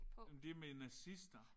Men det er med nazister